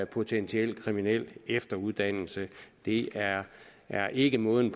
potentiel kriminel efteruddannelse det er er ikke måden